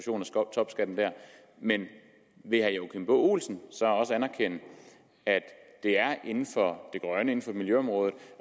topskatten men vil herre joachim b olsen så også anerkende at det er inden for det grønne inden for miljøområdet